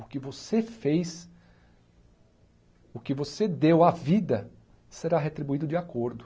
O que você fez, o que você deu à vida, será retribuído de acordo.